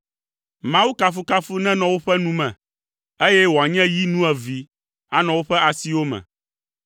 Mawu kafukafu nenɔ woƒe nu me, eye wòanye yi nuevee anɔ woƒe asiwo me,